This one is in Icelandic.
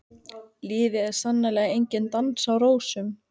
Lífið er sannarlega enginn dans á rósum.